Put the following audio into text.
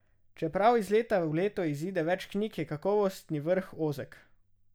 Čeprav iz leta v leto izide več knjig, je kakovostni vrh ozek.